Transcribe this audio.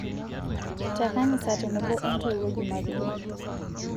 te kanisa tenebo oo ntoiwuo jumapili